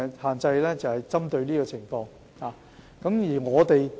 "限奶令"是針對這種情況而實施的。